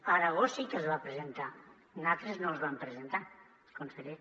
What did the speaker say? a aragó sí que es va presentar natres no els vam presentar conseller